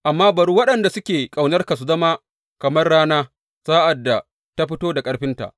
Amma bari waɗanda suke ƙaunarka su zama kamar rana sa’ad da ta fito da ƙarfinta.